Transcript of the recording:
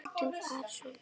Halldór Arason.